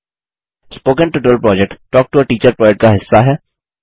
spoken tutorial project talk to a teacher project का हिस्सा है